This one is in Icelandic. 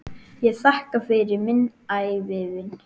Ég þakka fyrir minn ævivin.